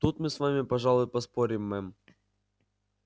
тут мы с вами пожалуй поспорим мэм